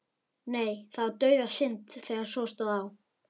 Nei, það var dauðasynd þegar svo stóð á.